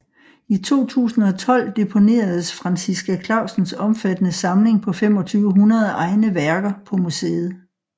I 2012 deponeredes Franciska Clausens omfattende samling på 2500 egne værker på museet